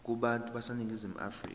kubantu baseningizimu afrika